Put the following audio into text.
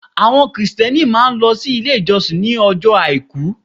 Àwọn Kìrìsìtẹ́ẹ́nì máà ń lọ sí ilé ìjọsìn ní ọjọ́ Àìkú.